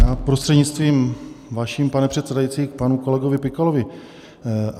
Já prostřednictvím vaším, pane předsedající, k panu kolegovi Pikalovi.